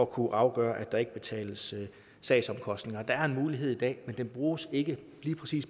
kunne afgøre at der ikke skal betales sagsomkostninger der er en mulighed i dag men den bruges ikke